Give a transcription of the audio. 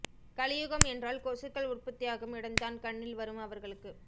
கலியுகம் என்றால் கொசுக்கள் உற்பத்தியாகும் இடம் தான் கண்ணில் வரும் அவர்களுக்கு